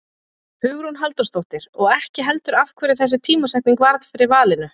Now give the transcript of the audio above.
Hugrún Halldórsdóttir: Og ekki heldur af hverju þessi tímasetning varð fyrir valinu?